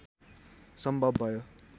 सम्भव भयो